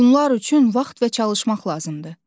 Bunlar üçün vaxt və çalışmaq lazımdır.